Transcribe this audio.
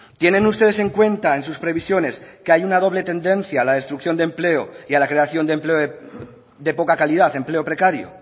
tienen ustedes en cuenta en sus previsiones que hay una doble tendencia a la destrucción de empleo y a la creación de empleo de poca calidad empleo precario